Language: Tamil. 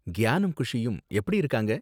கியானும் குஷியும் எப்படி இருக்காங்க?